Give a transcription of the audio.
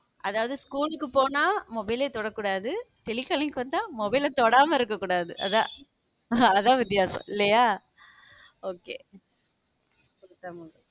அதாவது school க்கு போனா mobile ஏ தொடக்கூடாது telecalling வந்தா mobile அ தொடாம இருக்கக் கூடாது அதான் அதா வித்தியாசம் இல்லையா? okay